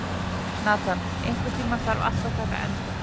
Nathan, einhvern tímann þarf allt að taka enda.